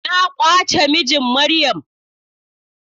Na kwace mijin Maryam.